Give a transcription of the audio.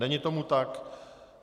Není tomu tak.